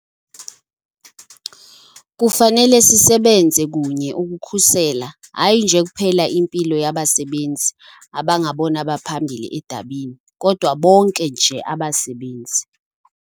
Kufanele sisebenze kunye ukukhusela hayi nje kuphela impilo yabasebenzi abangabona baphambili edabini kodwa bonke nje abasebenzi.